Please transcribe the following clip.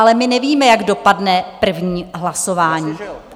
Ale my nevíme, jak dopadne první hlasování.